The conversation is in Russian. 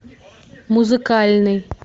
музыкальный